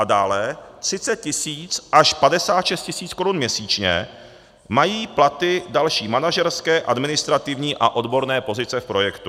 A dále 30 000 až 56 000 korun měsíčně mají platy další manažerské, administrativní a odborné pozice v projektu.